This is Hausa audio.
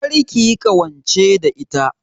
Kar kiyi ƙawance da ita